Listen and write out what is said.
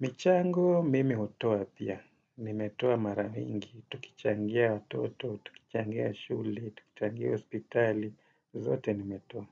Michango, mimi hutoa pia. Nimetoa mara mingi, tukichangia watoto, tukichangia shule, tukichangia hospitali, zote nimetowa.